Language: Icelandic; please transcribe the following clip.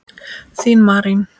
Þín Marín.